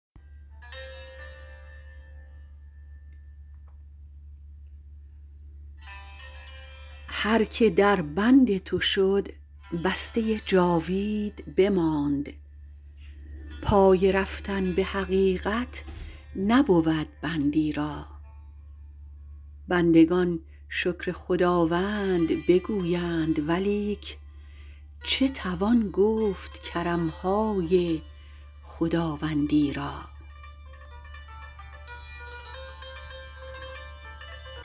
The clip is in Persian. هر که در بند تو شد بسته جاوید بماند پای رفتن به حقیقت نبود بندی را بندگان شکر خداوند بگویند ولیک چه توان گفت کرمهای خداوندی را